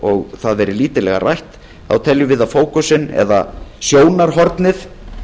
og það verið lítillega rætt teljum við að sjónarhornið